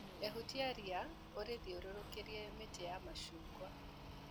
Ehutia ria rĩthiũrũrũkĩirie mĩtĩ ya macungwa.